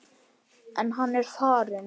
En hann er farinn.